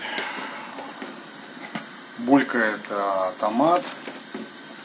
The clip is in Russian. булькает томат